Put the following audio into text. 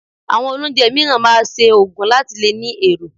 Àwọn olóunjẹ mìíràn máa ṣe òògùn láti lè ní èrò